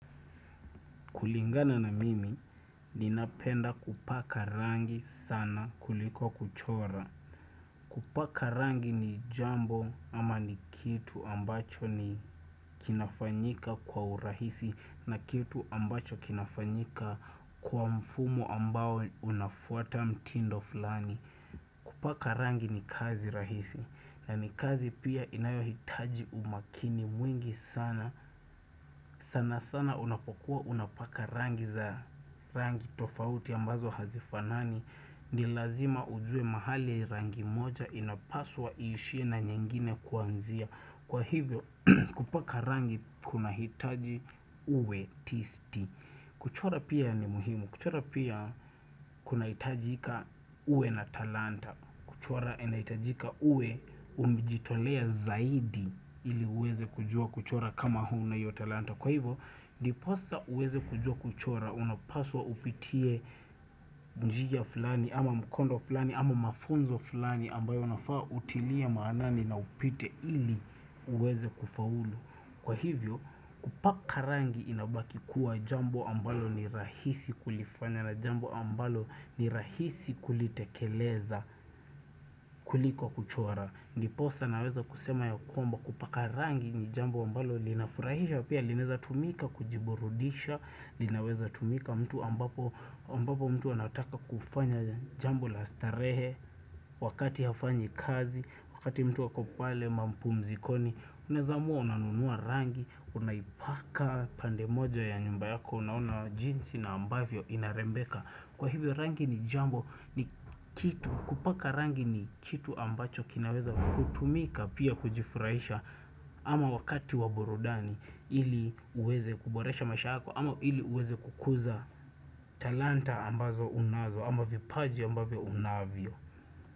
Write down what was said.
Kulingana na mimi, ninapenda kupaka rangi sana kuliko kuchora. Kupaka rangi ni jambo ama ni kitu ambacho ni kinafanyika kwa urahisi na kitu ambacho kinafanyika kwa mfumo ambao unafuata mtindo fulani. Kupaka rangi ni kazi rahisi na ni kazi pia inayohitaji umakini mwingi sana sanasana unapokuwa unapaka rangi za. Rangi tofauti ambazo hazifanani ni lazima ujue mahali rangi moja inapaswa iishiye na nyingine kuanzia. Kwa hivyo kupaka rangi kunahitaji uwe tisti. Kuchora pia ni muhimu. Kuchora pia kunahitajika uwe na talanta. Kuchora inaitajika uwe umejitolea zaidi ili uweze kujua kuchora kama huna hiyo talanta. Kwa hivyo, ndiposa uweze kujua kuchora, unapaswa upitie njia fulani, ama mkondo fulani, ama mafunzo fulani ambayo unafaa utilie maanani na upite ili uweze kufaulu. Kwa hivyo, upaka rangi inabaki kuwa jambo ambalo ni rahisi kulifanya na jambo ambalo ni rahisi kulitekeleza kuliko kuchora. Ndiposa naweza kusema ya kwamba kupaka rangi ni jambo ambalo linafurahisha pia linaweza tumika kujiburudisha linaweza tumika mtu ambapo mtu anataka kufanya jambo la starehe wakati hafanyi kazi wakati mtu ako pale mapumzikoni Unaeza amua unanunua rangi unaipaka pande moja ya nyumba yako unaona jinsi na ambavyo inarembeka Kwa hivyo rangi ni jambo ni kitu kupaka rangi ni kitu ambacho kinaweza kutumika pia kujifurahisha ama wakati wa burudani ili waweweze kuboresha maisha yako ama ili uweze kukuza talanta ambazo unazo ama vipaji ambavyo unavyo.